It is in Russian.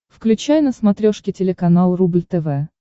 включай на смотрешке телеканал рубль тв